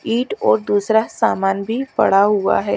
It और दूसरा सामान भी पडा हुआ है।